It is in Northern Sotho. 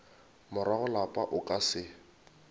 morago lapa o ka se